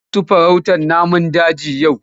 Za su yi farautar namun daji yau?